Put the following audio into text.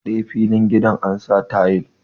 Gaba ɗaya filin gidan ansa tayil